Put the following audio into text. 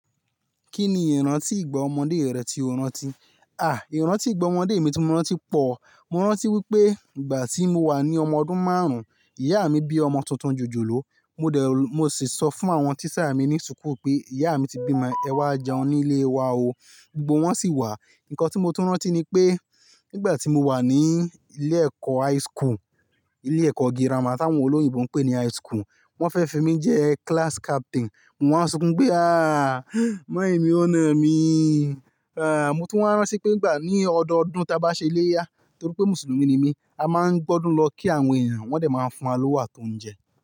Kí ni ìrántí ìgbà ọmọdé rẹ tí o rántí? À, ìrántí ìgbà ọmọdé mi tí mo rántí pọ̀. Mo rántí wípé ìgbà tí mo wà ní ọmọ ọdún márùn-ún, ìyá mi bí ọmọ tuntun jòjòló. Mo dẹ̀, mo sì sọ fún àwọn tíṣà mi ní súkù pé ìyá mi ti bímọ, ẹ wá jẹun nílé wa o. Gbogbo wọ́n sì wá. Ǹkan tí mo tún rántí ni pé nígbà tí mo wà ní ilé ẹ̀kọ́ high school, ilé ẹ̀kọ́ girama tí àwọn olóyìnbo ń pè ní high school, wọ́n fẹ́ fi mí jẹ́ class captain. Mo wáa ń sunkún pé "à, mọọmí o nà mi". Mo tún máa ń rántí pé ìgbà ní ọdọọdún ta bá ṣe iléyá, torí pé mùsùlùmí ni mí, a máa ń gb'ọdùn lọ kí àwọn èèyàn, wọ́n dẹ̀ máa fún wa lówó àti oúnjẹ.